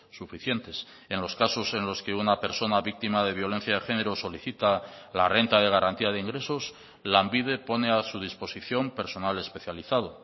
suficientes en los casos en los que una persona víctima de violencia de género solicita la renta de garantía de ingresos lanbide pone a su disposición personal especializado